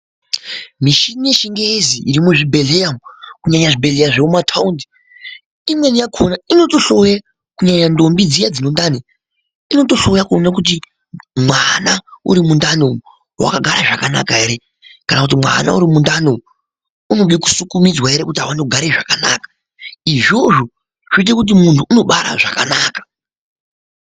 Michini yechingezi iri muzvibhedhlera umu kunyanya zvibhedhleya zvemumathaundi imweni yako inotohloya kunyanya ntombi dziya dzine ndani inotohloya kuona kuti mwana uri mundani umu wakagara zvakanaka ere kana kuti mwana urimundani umu unode kusukumizwa ere kuti aone kugara zvakanaka izvozvo zvoite kuti muntu unobara zvakanaka.